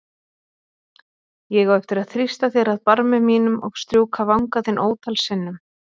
Ég á eftir að þrýsta þér að barmi mínum og strjúka vanga þinn ótal sinnum.